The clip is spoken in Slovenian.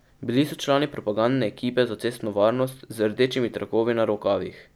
Bili so člani propagandne ekipe za cestno varnost z rdečimi trakovi na rokavih.